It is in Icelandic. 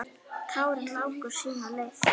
Tárin láku sína leið.